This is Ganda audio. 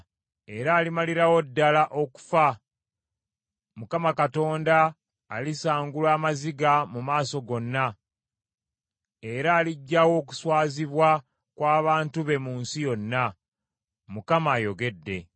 era alimalirawo ddala okufa. Mukama Katonda alisangula amaziga mu maaso gonna, era aliggyawo okuswazibwa kw’abantu be mu nsi yonna. Mukama ayogedde.